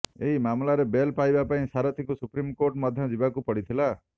ଏହି ମାମଲାରେ ବେଲ୍ ପାଇବା ପାଇଁ ସାରଥୀଙ୍କୁ ସୁପ୍ରିମକୋର୍ଟ ମଧ୍ୟ ଯିବାକୁ ପଡ଼ିଥିଲା